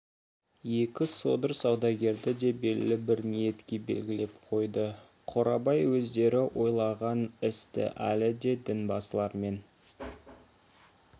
екі содыр саудагерді де белгілі бір ниетке белгілеп қойды қорабай өздері ойлаған істі әлі де дінбасылармен